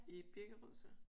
I Birkerød så?